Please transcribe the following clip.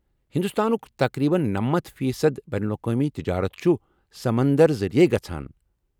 ہندوستانُک تقریبن نَمَتھ فی صد بین الاقوٲمی تجارت چُھ سمندر ذٔریعے گژھان۔